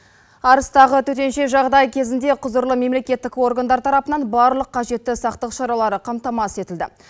арыстағы төтенше жағдай кезінде құзырлы мемлекеттік органдар тарапынан барлық қажетті сақтық шаралары қамтамасыз етілді